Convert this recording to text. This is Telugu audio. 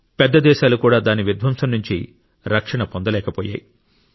పెద్ద దేశాలు కూడా దాని విధ్వంసం నుండి రక్షణ పొందలేకపోయాయి